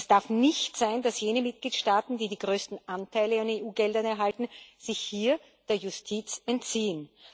Es darf nicht sein, dass jene Mitgliedstaaten, die die größten Anteile an EU Geldern erhalten, sich hier der Justiz entziehen.